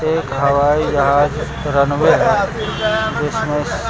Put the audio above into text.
एक हवाई जहाज रनवे है जिसमे--